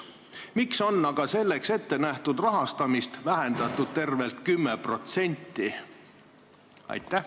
Miks on aga selleks ette nähtud rahastamist vähendatud tervelt 10%?